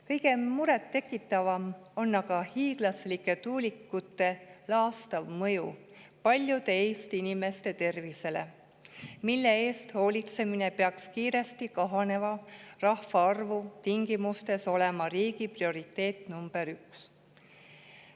Kõige murettekitavam on aga hiiglaslike tuulikute laastav mõju paljude Eesti inimeste tervisele, mille eest hoolitsemine peaks kiiresti kahaneva rahvaarvu tingimustes olema riigi prioriteet number üks.